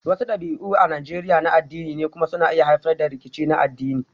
Wasu dabi'u a Najeriya na addini ne kuma suna iya haifar da rikici na addini